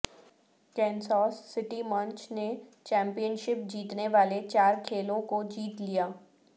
Kansas City مونچ نے championship جیتنے والے چار کھیلوں کو جیت لیا